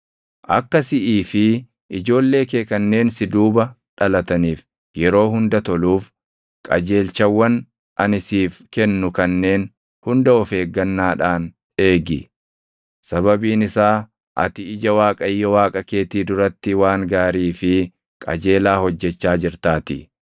Akka siʼii fi ijoollee kee kanneen si duuba dhalataniif yeroo hunda toluuf qajeelchawwan ani siif kennu kanneen hunda of eeggannaadhaan eegi; sababiin isaa ati ija Waaqayyo Waaqa keetii duratti waan gaarii fi qajeelaa hojjechaa jirtaatii.